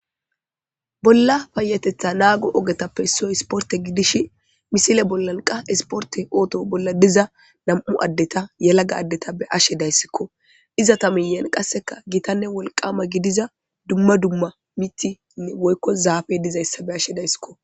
Bolla payateththa naago ogetappe issoy isporte gidishi misile bolla qa isporte ooto bolla diza nami'u addeta yelaga addeta be'ashe dayssikko. Izeta miyyen qassekka gitanne wolqama gidiza dumma dumma miththi woykko zaafe de'izaysa be'ashe dayssiko.